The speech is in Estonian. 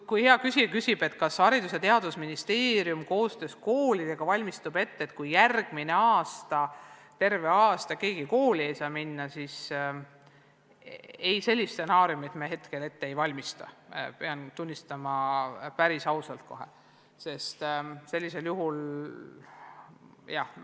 Kui hea küsija küsib, kas Haridus- ja Teadusministeerium koostöös koolidega valmistub ette selleks, et järgmisel õppeaastal ei pruugi keegi saada kooli minna, siis ei, sellist stsenaariumit me hetkel ette ei valmista, seda pean kohe päris ausalt tunnistama.